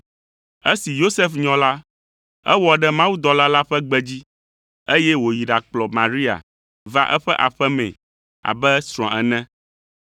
Esi Yosef nyɔ la, ewɔ ɖe mawudɔla la ƒe gbe dzi, eye wòyi ɖakplɔ Maria va eƒe aƒe mee abe srɔ̃a ene.